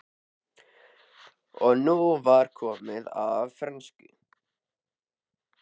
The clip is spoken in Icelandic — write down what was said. Og nú var komið að frönsku!